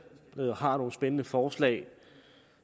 har nogle spændende forslag